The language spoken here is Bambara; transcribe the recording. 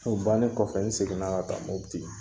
O bannen kɔfɛ n seginna ka taa MOTI.